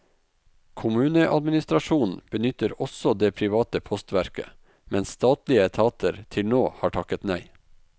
Kommuneadministrasjonen benytter også det private postverket, mens statlige etater til nå har takket nei.